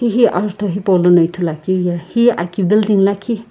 hi ajutho hipaulono ithuluakeu ye hi aki building lakhi.